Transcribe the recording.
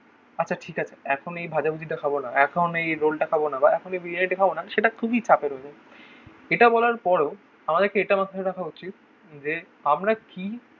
আচ্ছা ঠিক আছে. এখন এই ভাজাভুজিটা খাবো না. এখন এই রোলটা খাবো না. বা এখনই বিরিয়ানি খাবো না. সেটা খুবই চাপের হয়ে যায়. এটা বলার পরেও আমাদেরকে এটা মাথায় রাখা উচিত. যে আমরা কি